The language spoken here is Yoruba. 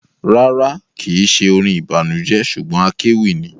Rárá, kìí ṣe orin ìbànújẹ ṣugbọn akéwì ni.